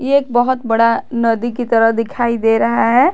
ये एक बहुत बड़ा नदी की तरह दिखाई दे रहा है।